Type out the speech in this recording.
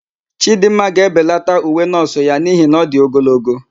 Chidịmma ga-ebelata uwe nọọsụ ya n'ihi na ọ dị ogologo.